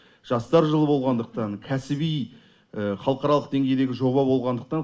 жастар жылы болғандықтан кәсіби халықаралық деңгейдегі жоба болғандықтан